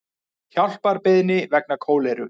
Hjálparbeiðni vegna kóleru